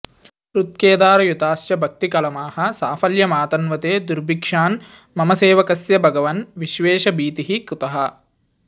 हृत्केदारयुताश्च भक्तिकलमाः साफल्यमातन्वते दुर्भिक्षान् मम सेवकस्य भगवन् विश्वेश भीतिः कुतः